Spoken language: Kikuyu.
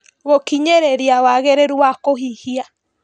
Gũkinyĩrĩria wagĩrĩru wa kũhihia